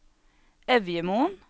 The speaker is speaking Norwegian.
Evjemoen